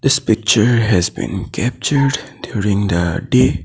This picture has been captured during the day.